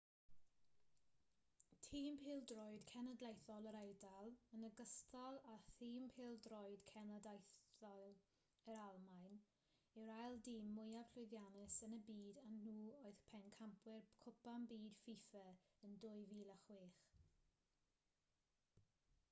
tîm pêl-droed cenedlaethol yr eidal yn ogystal â thîm pêl-droed cenedlaethol yr almaen yw'r ail dîm mwyaf llwyddiannus yn y byd a nhw oedd pencampwyr cwpan byd fifa yn 2006